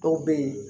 Dɔw bɛ ye